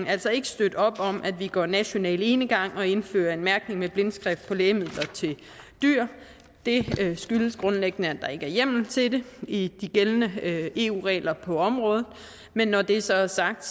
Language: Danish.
altså ikke støtte op om at vi går national enegang og indfører en mærkning med blindskrift på lægemidler til dyr det skyldes grundlæggende at der ikke er hjemmel til det i de gældende eu regler på området men når det så er sagt